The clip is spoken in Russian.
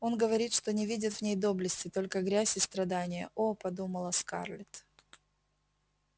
он говорит что не видит в ней доблести только грязь и страдания о подумала скарлетт